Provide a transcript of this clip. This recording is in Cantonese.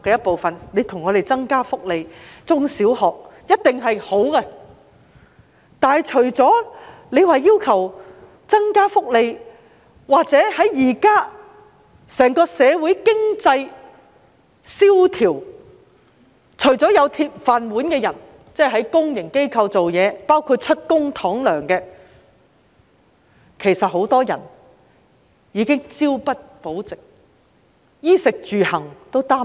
不過，教協除了要求增加福利......在現今經濟蕭條下，社會除擁有"鐵飯碗"的人，就是在公營機構工作，包括以公帑支薪的人外，很多人已經是朝不保夕，對衣、食、住、行也感到擔憂。